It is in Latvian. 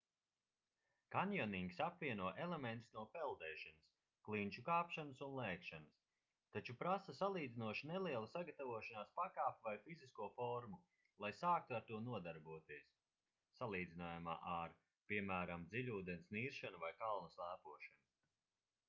kanjonings apvieno elementus no peldēšanas klinšu kāpšanas un lēkšanas taču prasa salīdzinoši nelielu sagatavošanās pakāpi vai fizisko formu lai sāktu ar to nodarboties salīdzinājumā ar piemēram dziļūdens niršanu vai kalnu slēpošanu